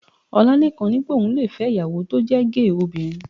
Ọlálékan ní pé òun le fẹ́ ìyàwó tó jẹ́ géè obìnrin